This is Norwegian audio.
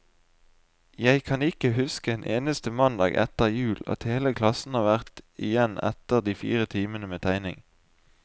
Jeg kan ikke huske en eneste mandag etter jul, at hele klassen har vært igjen etter de fire timene med tegning.